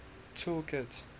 tool kit